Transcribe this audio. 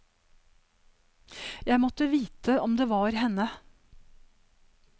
Jeg måtte vite om det var henne.